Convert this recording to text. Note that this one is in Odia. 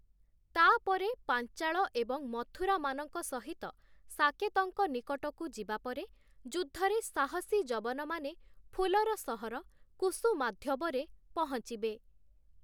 ତା'ପରେ ପାଞ୍ଚାଳ ଏବଂ ମଥୁରାମାନଙ୍କ ସହିତ ସାକେତଙ୍କ ନିକଟକୁ ଯିବା ପରେ, ଯୁଦ୍ଧରେ ସାହସୀ ଯବନମାନେ ଫୁଲର ସହର କୁସୁମାଧ୍ୟବରେ ପହଞ୍ଚିବେ ।